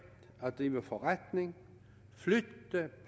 at drive forretning